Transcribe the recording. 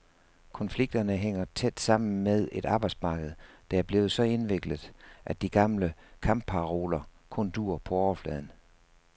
Konflikterne hænger tæt sammen med et arbejdsmarked, der er blevet så indviklet, at de gamle kampparoler kun duer på overfladen.